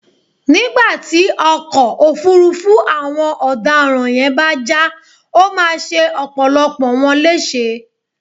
nígbà tí ọkọ̀ ọ̀fuurú àwọn ọ̀daràn yẹn bá já, ó máa ṣe ọ̀pọ̀lọpọ̀ wọn léṣe